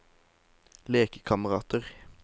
lekekamerater